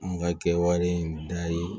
N ka kɛwale in daha ye